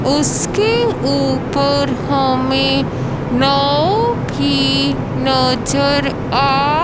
उसके ऊपर हमें नाव भी नजर आ--